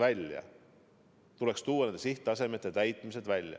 See tuleks välja tuua.